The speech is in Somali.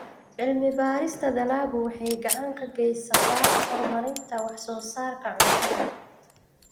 Cilmi-baarista dalaggu waxay gacan ka geysataa horumarinta wax-soo-saarka cuntada.